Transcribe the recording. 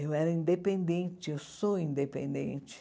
Eu era independente, eu sou independente.